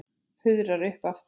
Fuðrar upp aftur.